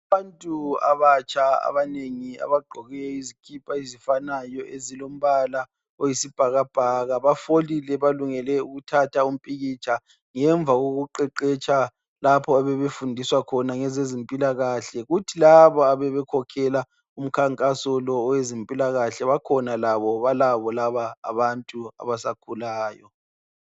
Abantu abatsha abanengi abaqgoke izikipa ezifanayo ezilombala oyisibhakabhaka bafolile balungele ukuthatha umpikitsha ngemva kokuqeqetsha lapho abebefundiswa khona ngezezempila kahle kuthi labo abebe khokhela umkhankaso lo owezempila kahle bakhona labo balabo laba abantu abasakhulayo